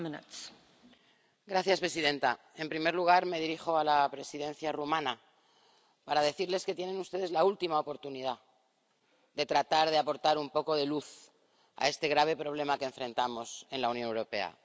Señora presidenta, en primer lugar, me dirijo a la Presidencia rumana para decirles que tienen ustedes la última oportunidad de tratar de aportar un poco de luz a este grave problema a que enfrentamos en la Unión Europea.